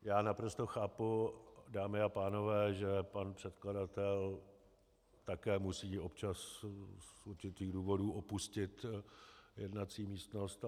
Já naprosto chápu, dámy a pánové, že pan předkladatel také musí občas z určitých důvodů opustit jednací místnost.